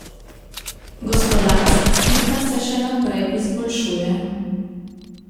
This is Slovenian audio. Gospodarska slika se še naprej izboljšuje.